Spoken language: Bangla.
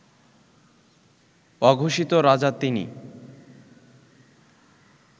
অঘোষিত রাজা তিনি